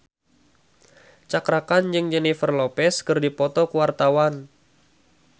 Cakra Khan jeung Jennifer Lopez keur dipoto ku wartawan